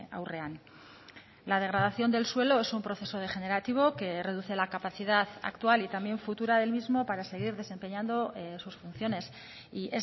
aurrean la degradación del suelo es un proceso degenerativo que reduce la capacidad actual y también futura del mismo para seguir desempeñando sus funciones y